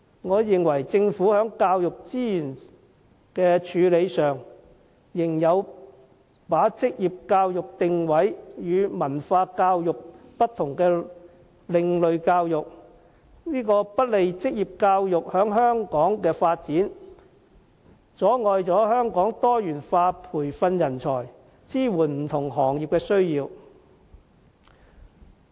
我認為，政府在教育資源的處理上，仍把職業教育定位為有別於文法教育的另類教育，這不利於職業教育在香港的發展，阻礙香港多元化培訓人才，以支援不同行業。